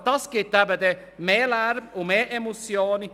Das erzeugt mehr Lärm und mehr Emissionen.